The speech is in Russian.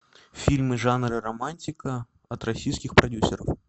фильмы жанра романтика от российских продюсеров